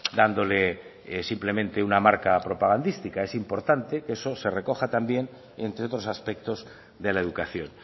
dándole simplemente una marca propagandística es importante que eso se recoja también entre otros aspectos de la educación